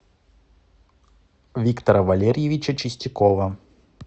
виктора валерьевича чистякова